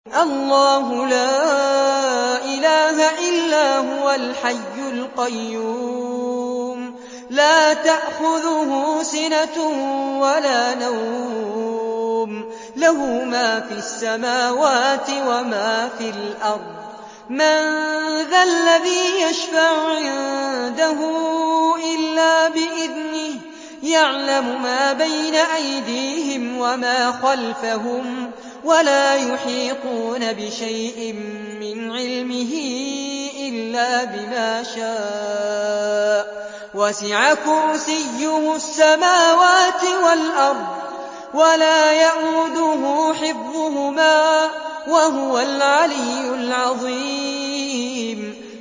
اللَّهُ لَا إِلَٰهَ إِلَّا هُوَ الْحَيُّ الْقَيُّومُ ۚ لَا تَأْخُذُهُ سِنَةٌ وَلَا نَوْمٌ ۚ لَّهُ مَا فِي السَّمَاوَاتِ وَمَا فِي الْأَرْضِ ۗ مَن ذَا الَّذِي يَشْفَعُ عِندَهُ إِلَّا بِإِذْنِهِ ۚ يَعْلَمُ مَا بَيْنَ أَيْدِيهِمْ وَمَا خَلْفَهُمْ ۖ وَلَا يُحِيطُونَ بِشَيْءٍ مِّنْ عِلْمِهِ إِلَّا بِمَا شَاءَ ۚ وَسِعَ كُرْسِيُّهُ السَّمَاوَاتِ وَالْأَرْضَ ۖ وَلَا يَئُودُهُ حِفْظُهُمَا ۚ وَهُوَ الْعَلِيُّ الْعَظِيمُ